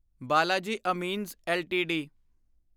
Balaji Amines LTD